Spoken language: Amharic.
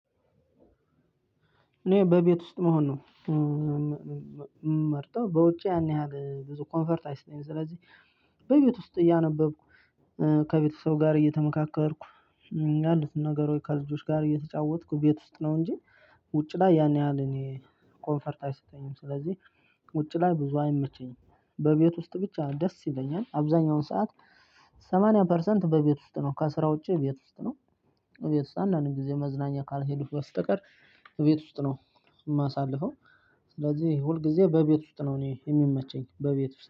እኔ በቤት ውስጥ መሆን ነው። ምመርጠው በውጪ ያን ያህል ብዙ ኮንፈርት አይሰጠኝም። ስለዚህ በቤት ውስጥ እያነበብኩ ከቤተሰብ ጋር እየተመካከርኩ ያሉትን ነገር ከልጆች ጋር እየተጫወትኩ ቤት ውስጥ ነው። እንጂ ውጭ ላይ ያን ያህል እኔ ኮንፈርት አይሰጠኝም። ስለዚህ ውጪ ላይ ብዙ አይመቸኝም በቤት ውስጥ ብቻ ደስ ይለኛል። አብዛኛውን ሰዓት ሰማንያ ፐርሰንት በቤት ውስጥ ነው ከስራ ውጪ ቤት ውስጥ ነው። ቤት ውስጥ አንዳንድ ጊዜ መዝናኛ ካልሄዱህ በስተቀር። ቤት ውስጥ ነው። ማሳልፈው ስለዚህ ሁልጊዜ በቤት ውስጥ ነው እኔ የሚመቸኝ በቤት